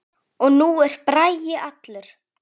Og nú er Bragi allur.